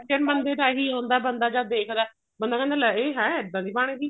reaction ਇਹੀ ਹੁੰਦਾ ਬੰਦਾ ਜਦ ਦੇਖਦਾ ਬੰਦਾ ਕਹਿੰਦਾ ਲੈ ਇਹ ਹੈਂ ਇੱਦਾਂ ਦੀ ਬਣ ਗਈ